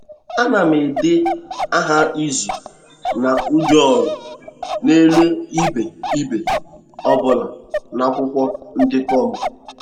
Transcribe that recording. A na m ede aha izu na ụdị-ọrụ n’elu ibe ibe ọ bụla n’akwụkwọ ndekọ m.